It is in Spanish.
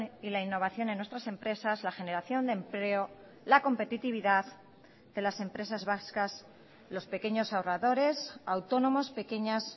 y la innovación en nuestras empresas la generación de empleo la competitividad de las empresas vascas los pequeños ahorradores autónomos pequeñas